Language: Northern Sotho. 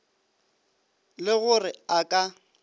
le go re a ka